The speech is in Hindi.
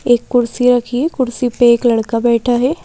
एक कुर्सी रखी है कुर्सी पे एक लड़का बैठा है।